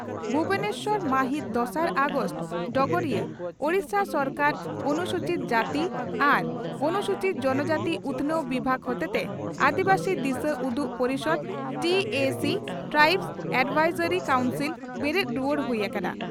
ᱵᱷᱩᱵᱚᱱᱮᱥᱚᱨ ᱢᱟᱹᱦᱤᱛ ᱫᱚᱥᱟᱨ ᱟᱜᱚᱥᱴ (ᱰᱚᱜᱚᱨᱤᱭᱟᱹ) ᱺ ᱳᱰᱤᱥᱟ ᱥᱚᱨᱠᱟᱨᱟᱜ ᱚᱱᱥᱩᱪᱤᱛ ᱡᱟᱹᱛᱤ ᱟᱨ ᱚᱱᱩᱥᱩᱪᱤᱛ ᱡᱚᱱᱚ ᱡᱟᱹᱛᱤ ᱩᱛᱷᱱᱟᱹᱣ ᱵᱤᱵᱷᱟᱜᱽ ᱦᱚᱛᱮᱛᱮ ᱟᱹᱫᱤᱵᱟᱹᱥᱤ ᱫᱤᱥᱟᱹᱩᱫᱩᱜ ᱯᱚᱨᱤᱥᱚᱫᱽ ( ᱴᱤ ᱮ ᱥᱤ ᱼ ᱴᱨᱟᱭᱤᱵᱥ ᱮᱰᱵᱷᱟᱭᱥᱚᱨᱤ ᱠᱟᱣᱩᱱᱥᱤᱞ ) ᱵᱮᱨᱮᱫ ᱨᱩᱣᱟᱹᱲ ᱦᱩᱭ ᱟᱠᱟᱱᱟ ᱾